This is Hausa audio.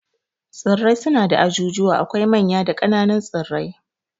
Tsirrai suna da ajujuwa, akwai manya da kananun tsirrai